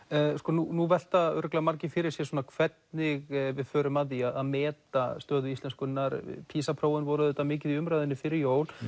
nú velta örugglega margir fyrir sér hvernig við förum að því að meta stöðu íslenskunnar Pisa prófin voru auðvitað mikið í umræðunni fyrir jól